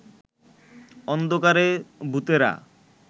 অন্ধকারে ভূতেরা